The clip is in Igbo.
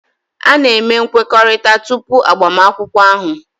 A na-eme nkwekọrịta tupu agbamakwụkwọ ahụ